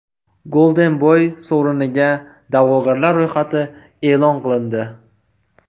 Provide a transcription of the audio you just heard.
Golden Boy sovriniga da’vogarlar ro‘yxati e’lon qilindi.